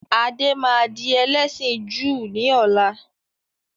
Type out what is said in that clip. Adé máa di ẹlẹ́sìn Júù ni ọ̀la.